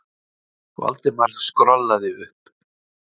Valdimar skrollaði upp.